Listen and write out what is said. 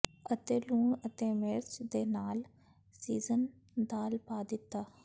ਅਤੇ ਲੂਣ ਅਤੇ ਮਿਰਚ ਦੇ ਨਾਲ ਸੀਜ਼ਨ ਦਾਲ ਪਾ ਦਿੱਤਾ